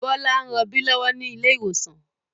Bọlá ń rọbí lọ́wọ́ ni ilé ìwòsàn